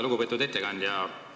Lugupeetud ettekandja!